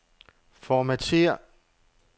Formatér.